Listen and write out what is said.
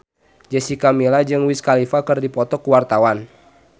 Jessica Milla jeung Wiz Khalifa keur dipoto ku wartawan